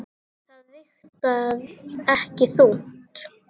Það vigtar ekki þungt.